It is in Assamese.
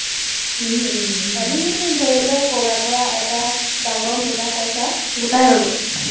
আমি ধৰি লোৱা, ক’ৰবাৰ পৰা এটা ডাঙৰ মোটা পইচা গোটাই ল’লো।